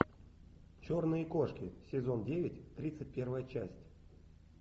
черные кошки сезон девять тридцать первая часть